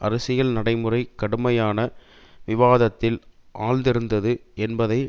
அரசியல் நடைமுறை கடுமையான விவாதத்தில் ஆழ்ந்திருத்தது என்பதை